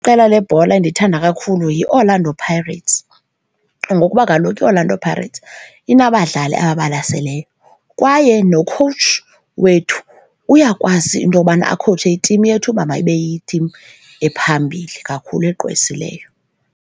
Iqela lebhola endiyithanda kakhulu yiOrlando Pirates ngokuba kaloku iOrlando Pirates inabadlali ababalaseleyo kwaye nokhowutshi wethu uyakwazi into yobana akhowutshe itimu yethu uba mayibe yitim ephambili kakhulu, egqwesileyo.